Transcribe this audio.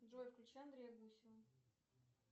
джой включи андрея гусева